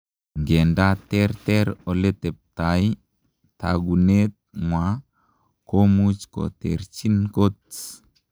Ngandaa terter oleteptai ,taguneet ngwaa komuuch koterchiin kot.